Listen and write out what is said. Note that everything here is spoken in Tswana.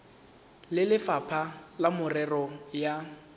le lefapha la merero ya